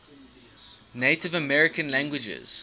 native american languages